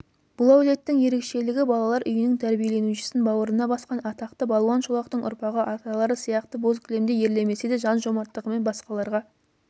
бұл әулеттің ерекшелігі балалар үйінің тәрбиеленушісін бауырына басқан атақты балуан шолақтың ұрпағы аталары сияқты боз кілемде ерлемесе де жан жомарттығымен басқаларға